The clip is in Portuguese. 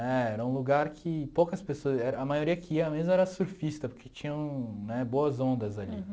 É, era um lugar que poucas pessoas, a maioria que ia mesmo era surfista, porque tinham né boas ondas ali.